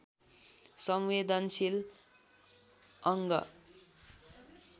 संवेदनशील अङ्ग